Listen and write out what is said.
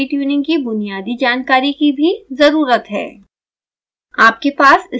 आपको pid tuning की बुनियादी जानकारी की भी ज़रुरत है